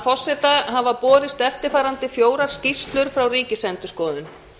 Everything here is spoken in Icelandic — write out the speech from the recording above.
forseta hafa borist eftirfarandi fjórar skýrslur frá ríkisendurskoðun fyrsta